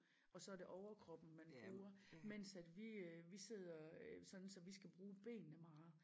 Og så det overkroppen man bruger mens at vi øh vi sidder øh sådan så vi skal bruge benene meget